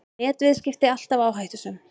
Netviðskipti alltaf áhættusöm